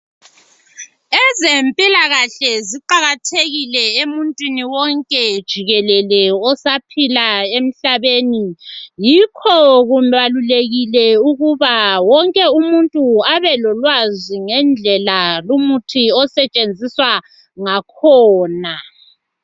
Ezempilakahle ziqakathekile emuntwini wonkejikelele osaphila emhlabeni yikho kumele wonke umuntu abelolwazi ngendlela lu muthi osebenziswa ngakhona.